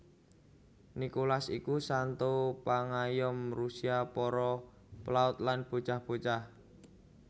Nikolas iku santo pangayom Rusia para pelaut lan bocah bocah